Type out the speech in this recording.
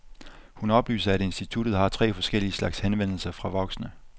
Hun oplyser, at instituttet har tre forskellige slags henvendelser fra voksne.